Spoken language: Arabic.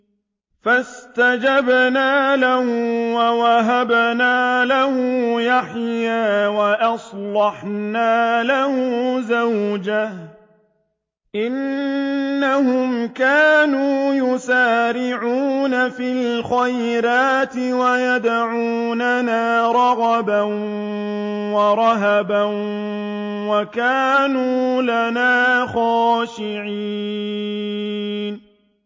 فَاسْتَجَبْنَا لَهُ وَوَهَبْنَا لَهُ يَحْيَىٰ وَأَصْلَحْنَا لَهُ زَوْجَهُ ۚ إِنَّهُمْ كَانُوا يُسَارِعُونَ فِي الْخَيْرَاتِ وَيَدْعُونَنَا رَغَبًا وَرَهَبًا ۖ وَكَانُوا لَنَا خَاشِعِينَ